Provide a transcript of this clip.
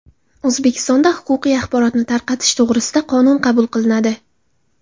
O‘zbekistonda huquqiy axborotni tarqatish to‘g‘risida qonun qabul qilinadi.